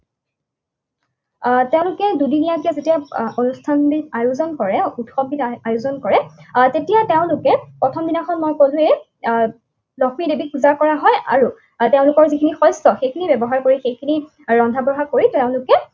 আহ তেওঁলোকে দুদিনীয়াকে যেতিয়া অনুষ্ঠানবিধ আয়োজন কৰে, উৎসৱবিধ আয়োজন কৰে, আহ তেতিয়া তেওঁলোকে প্ৰথমদিনাখন মই কলোৱেই। আহ লক্ষ্মীদেৱীক পূজা কৰা হয় আৰু আৰু তেওঁলোকৰ যিখিনি শিষ্য, সেইখিনি ব্যৱহাৰ কৰি, সেইখিনি ৰন্ধা বঢ়া কৰি তেওঁলোকে